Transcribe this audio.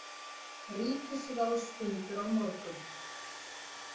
Ríkisráðsfundur á morgun